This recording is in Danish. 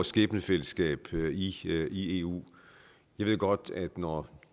skæbnefællesskab i eu jeg ved godt at når